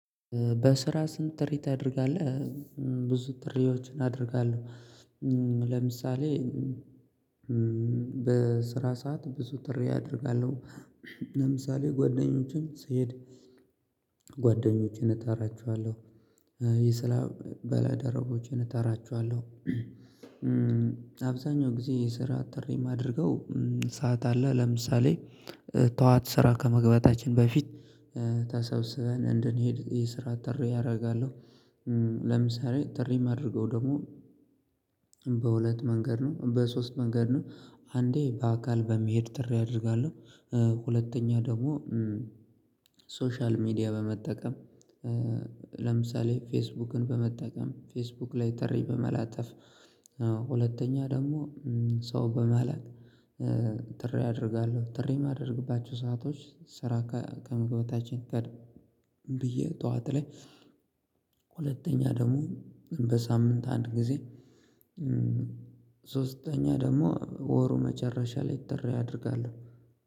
በስራ ስንት ጥሪ ታደርጋለህ? ብዙ ጥሪዎችን አደርጋለሁ። ለምሳሌ በስራ ሰዓት ብዙ ጥሪ አደርጋለሁ። ለምሳሌ ጓደኞችን ስሄድ ጓደኞቼን እጣራቸዋለሁ የስራ ባልደረቦቼን እጠራቸዋለሁ። አብዛኛው ጊዜ የስራ ጥሪ የማደርገው ሰዓት አለ ለምሳሌ ጠዋት ስራ ከመግባታችን በፊት ተሰብስበን እንድንሄድ የስራ ጥሪ አደርጋለሁ። ለምሳሌ ጥሪ የማደርገው ደግሞ በሁለት መንገድ ነው በሶስት መንገድ ነው አንዴ በአካል በመሄድ ጥሪ አደርጋለሁ ሁለተኛ ደግሞ ሶሻል ሚዲያ በመጠቀም። ለምሳሌ ፌስቡክን በመጠቀም ፌስቡክ ላይ ጥሪ በመላጠፍ ሁለተኛ ደግሞ ሰው በመላክ። ጥሪ አደርጋለሁ ጥሪ የማደርግባቸው ሰአቶች ስራ ከምግባታችን ቀድም ብዬ ጠዋት ላይ ሁለተኛ ደግሞ በሳምንት አንድ ጊዜ። ሶስተኛ ደግሞ ወሩ መጨረሻ ላይ ጥሪ ያደርጋሉ።